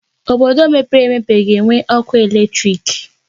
Obodo mepere emepe ga na-enwe ọkụ eletrik.